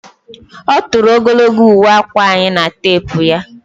Ọ tụrụ ogologo uwe akwa anyị na teepu ya